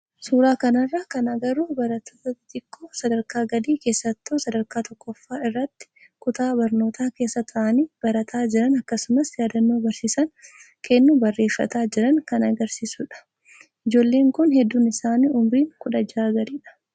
Suuraa kanarraa kan agarru barattoota xixiqoo sadarkaa gadii keessattuu sadarkaa tokkoffaa irratti kutaa barnootaa keessa taa'anii barataa jiran akkasumas yaadannoo barsiisaan kennu barreeffataa jiran kan agarsiisudha. Ijoolleen kun hedduun isaanii umriin 16 gadidha.